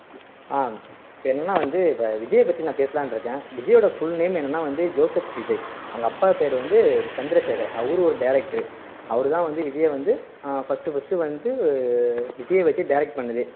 ஆஹ் இப்போ என்னன்னா வந்து இப்போ விஜயை நான் பேசலாம்னு இருக்கேன் விஜயோட full name என்னன்னா வந்து ஜோசப் விஜய் அவங்க அப்பா பேரு வந்து சந்திரசேகர் அவரும் ஒரு director அவர் தான் வந்து விஜயை வந்து ஆஹ் first first வந்து விஜயை வச்சு direct பண்ணதே